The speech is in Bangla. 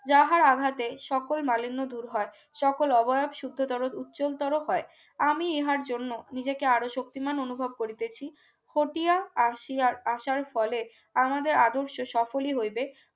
যাহারা আঘাতেই সকল মালির নতুন হয় সকল অভ্যাপ শুদ্ধতর উজ্জ্বলতর হয় আমি ইহার জন্য নিজেকে আরও শক্তিমান অনুভব করতেছি, খতিয়া আসিয়ার আসার ফলে আমাদের আদর্শ সফলি হইবে